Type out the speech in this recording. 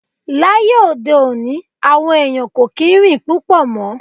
Láyé òde òní, àwọn ẹ̀yàn kò kí ń rìn púpọ̀ mọ́.